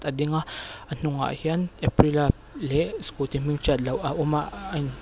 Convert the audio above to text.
a ding a a hnungah hian aprilia leh skuti hming hriat loh a awm a ahh a in--